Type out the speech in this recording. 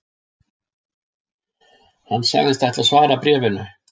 Hann sagðist ætla að svara bréfinu